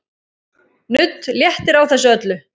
Nudd léttir á þessu öllu.